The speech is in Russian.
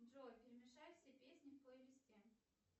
джой перемешай все песни в плейлисте